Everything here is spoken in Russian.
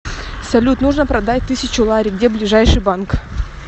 салют нужно продать тысячу лари где ближайший банк